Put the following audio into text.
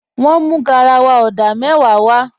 Wọ́n mú garawa odà mẹ́wàá w